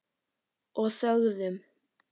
Og þögðum.